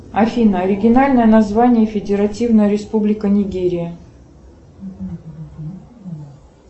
афина оригинальное название федеративная республика нигерия